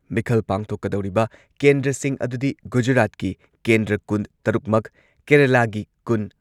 ꯃꯤꯈꯜ ꯄꯥꯡꯊꯣꯛꯀꯗꯧꯔꯤꯕ ꯀꯦꯟꯗ꯭ꯔꯁꯤꯡ ꯑꯗꯨꯗꯤ ꯒꯨꯖꯔꯥꯠꯀꯤ ꯀꯦꯟꯗ꯭ꯔ ꯀꯨꯟꯇꯔꯨꯛꯃꯛ, ꯀꯦꯔꯂꯥꯒꯤ ꯀꯨꯟ